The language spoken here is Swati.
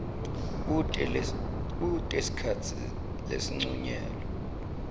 kute sikhatsi lesincunyelwe